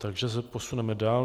Takže se posuneme dál.